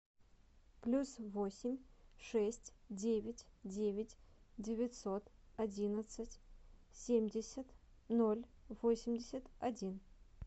плюс восемь шесть девять девять девятьсот одиннадцать семьдесят ноль восемьдесят один